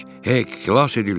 Hey, xilas edildik.